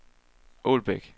Ålbæk